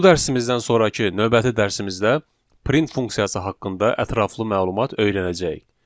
Bu dərsimizdən sonrakı növbəti dərsimizdə print funksiyası haqqında ətraflı məlumat öyrənəcəyik.